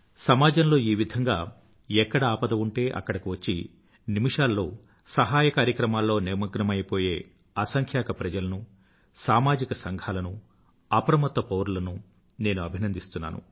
సమాజంలో ఈ విధంగా ఎక్కడ ఆపద ఉంటే అక్కడకు వచ్చి నిమిషాల్లో సహాయం కార్యక్రమాల్లో నిమగ్నమయిపోయే అసంఖ్యాక ప్రజలను సామాజిక సంఘాలను అప్రమత్త పౌరులను నేను అభినంdisస్తున్నాను